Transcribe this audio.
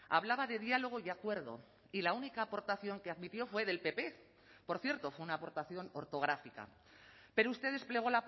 hablaba de diálogo y acuerdo y la única aportación que admitió fue del pp por cierto fue una aportación ortográfica pero usted desplegó